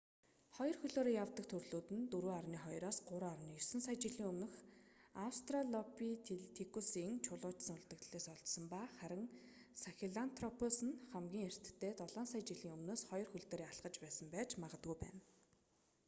хоёр хөлөөрөө явдаг төрлүүд нь 4.2-3.9 сая жилийн өмнөх аустралопитекусын чулуужсан үлдэгдлээс олдсон ба харин сахелантропус нь хамгийн эртдээ долоон сая жилийн өмнөөс хоёр хөл дээрээ алхаж байсан байж магадгүй байна